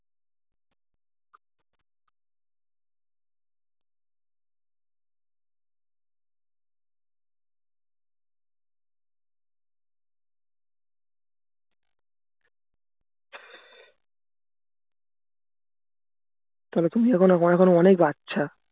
তবে তুমি এখনো অনেক বাচ্চা